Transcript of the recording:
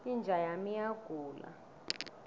inja yami iyagula